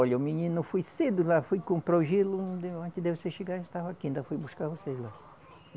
Olha, o menino foi cedo lá, foi comprou gelo, antes de vocês chegarem a gente estava aqui, ainda fui buscar vocês lá.